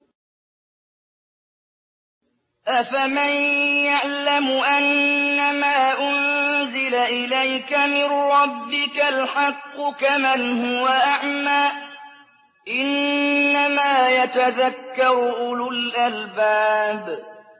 ۞ أَفَمَن يَعْلَمُ أَنَّمَا أُنزِلَ إِلَيْكَ مِن رَّبِّكَ الْحَقُّ كَمَنْ هُوَ أَعْمَىٰ ۚ إِنَّمَا يَتَذَكَّرُ أُولُو الْأَلْبَابِ